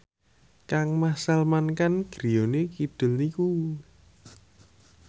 kangmas Salman Khan griyane kidul niku